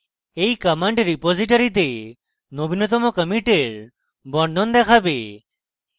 এই command রিপোসিটরীতে নবীনতম কমিটের বর্ণন দেখাবে